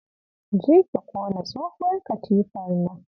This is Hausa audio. Jeki ki ƙona tsohuwar katifar nan.